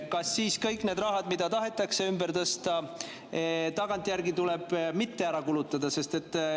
Kas siis kõik need rahad, mida tahetakse ümber tõsta, jäävad tagantjärgi kulutamata?